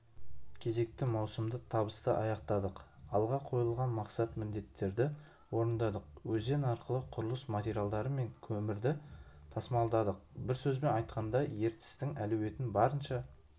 кезекті маусымды табысты аяқтадық алға қойылған мақсат-міндеттерді орындадық өзен арқылы құрылыс материалдары мен көмірді тасымалдадық бір сөзбен айтқанда ертістің әлеуетін барынша